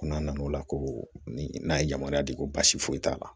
Ko n'a nana o la ko ni n'a ye yamaruya di ko basi foyi t'a la